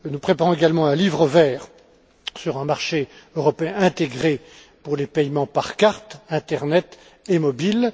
Nous préparons également un livre vert sur un marché européen intégré pour les paiements par carte, par internet et par téléphone mobile.